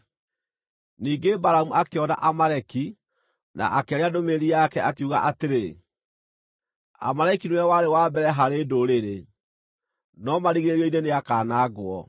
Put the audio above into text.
Ningĩ Balamu akĩona Amaleki, na akĩaria ndũmĩrĩri yake, akiuga atĩrĩ: “Amaleki nĩwe warĩ wa mbere harĩ ndũrĩrĩ, no marigĩrĩrio-inĩ nĩakanangwo.”